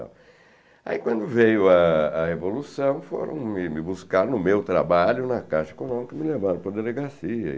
Aí, quando veio a a Revolução, foram me me buscar no meu trabalho, na Caixa econômica me levaram para a delegacia.